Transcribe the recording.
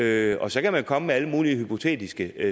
er og så kan man komme med alle mulige hypotetiske